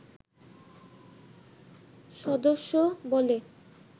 সদস্য বলে